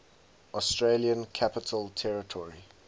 australian capital territory